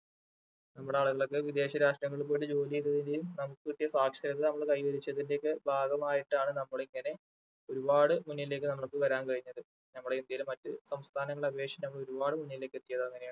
നമ്മുടെ ആളുകളൊക്കെ വിദേശ രാഷ്ട്രങ്ങളിൽ പോയിട്ട് ജോലി ചെയ്ത് കൈവരിച്ചതിന്റെ ഒക്കെ ഭാഗമായിട്ടാണ് നമ്മൾ ഇങ്ങനെ ഒരുപാട് മുന്നിലേക്ക് നമ്മൾക്ക് വരാൻ കഴിഞ്ഞത്. നമ്മളെ ഇന്ത്യയില് മറ്റു സംസ്ഥാനങ്ങളെ അപേക്ഷിച്ച് നമ്മൾ ഒരുപാടു മുന്നിലേക്ക് എത്തിയത് അങ്ങനെയാണ്